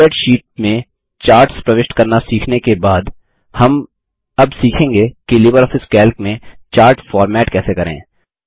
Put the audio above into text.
spreadsheet में charts प्रविष्ट करना सीखने के बाद हम अब सीखेंगे कि लिबरऑफिस कैल्क में चार्ट फ़ॉर्मेट कैसे करें